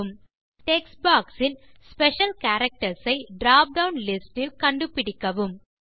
ஒரு உரை பெட்டி திறக்கிறது டெக்ஸ்ட் பாக்ஸ் இல் ஸ்பெஷல் கேரக்டர்ஸ் ஐ டிராப் டவுன் லிஸ்ட் டில் கண்டுபிடிக்கவும்